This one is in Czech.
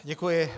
Děkuji.